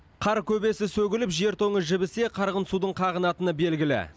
қар көбесі сөгіліп жер тоңы жібісе қарғын судың қағынатыны белгілі